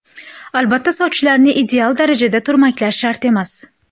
Albatta, sochlarni ideal darajada turmaklash shart emas.